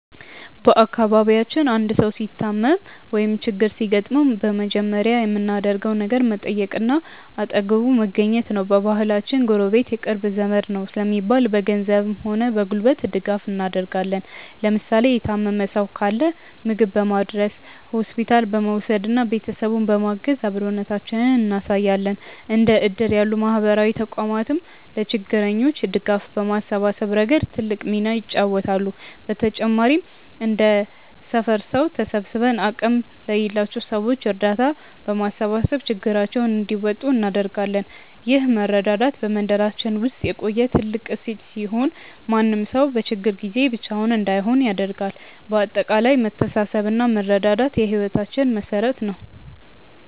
በአካባቢያችን አንድ ሰው ሲታመም ወይም ችግር ሲገጥመው በመጀመሪያ የምናደርገው ነገር መጠየቅና አጠገቡ መገኘት ነው። በባህላችን "ጎረቤት የቅርብ ዘመድ ነው" ስለሚባል፣ በገንዘብም ሆነ በጉልበት ድጋፍ እናደርጋለን። ለምሳሌ የታመመ ሰው ካለ ምግብ በማድረስ፣ ሆስፒታል በመውሰድና ቤተሰቡን በማገዝ አብሮነታችንን እናሳያለን። እንደ እድር ያሉ ማህበራዊ ተቋማትም ለችግረኞች ድጋፍ በማሰባሰብ ረገድ ትልቅ ሚና ይጫወታሉ። በተጨማሪም እንደ ሰፈር ሰው ተሰባስበን አቅም ለሌላቸው ሰዎች እርዳታ በማሰባሰብ ችግራቸውን እንዲወጡ እናደርጋለን። ይህ መረዳዳት በመንደራችን ውስጥ የቆየ ትልቅ እሴት ሲሆን፣ ማንም ሰው በችግር ጊዜ ብቻውን እንዳይሆን ያደርጋል። በአጠቃላይ መተሳሰብና መረዳዳት የህይወታችን መሠረት ነው።